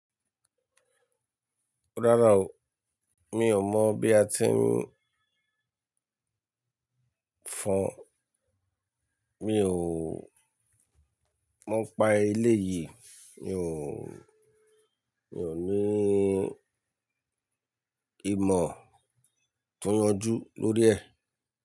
Rárá o, mi ò mọ̀ bí a ti ń fọn. Mi ò mọ̀ pa eléyìí, mi ò, mi ò ní ìmọ̀ to yanjú lórí ẹ̀.